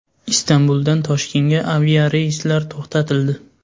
Istanbuldan Toshkentga aviareyslar to‘xtatildi.